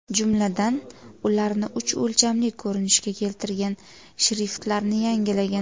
Jumladan, ularni uch o‘lchamli ko‘rinishga keltirgan, shriftlarni yangilagan.